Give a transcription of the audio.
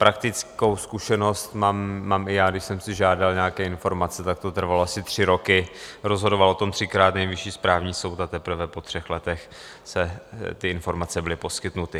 Praktickou zkušenost mám i já, když jsem si žádal nějaké informace, tak to trvalo asi tři roky, rozhodoval o tom třikrát Nejvyšší správní soud a teprve po třech letech ty informace byly poskytnuty.